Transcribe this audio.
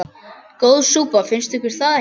Góð súpa, finnst ykkur það ekki?